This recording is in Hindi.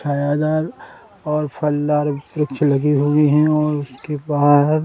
छायादार और फलदार वृक्ष लगे हुए हैं और उसके बाहर --